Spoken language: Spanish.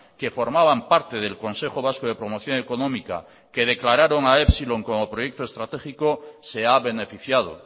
que formaban parte del consejo vasco de promoción económica que declararon a epsilon como proyecto estratégico se ha beneficiado